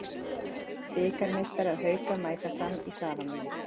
Bikarmeistarar Hauka mæta Fram í Safamýri